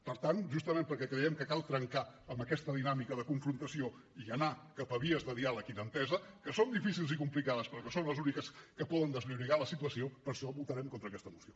per tant justament perquè creiem que cal trencar amb aquesta dinàmica de confrontació i anar cap a vies de diàleg i d’entesa que són difícils i complicades però que són les úniques que poden desllorigar la situació per això votarem contra aquesta moció